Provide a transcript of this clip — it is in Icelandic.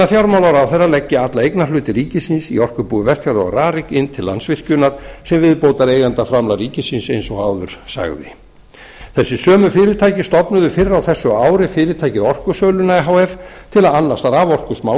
að fjármálaráðherra leggi alla eignarhluti ríkisins í orkubúi vestfjarða og rarik inn til landsvirkjun sem viðbótareigendaframlag ríkisins eins og áður sagði þessi sömu fyrirtæki stofnuðu fyrr á þessu ári fyrirtækið orkusöluna e h f til að annast